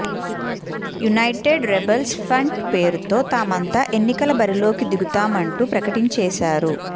United rebels front పేరుతో తామంతా ఎన్నికల బరిలోకి దిగుతామంటూ ప్రకటించేశారు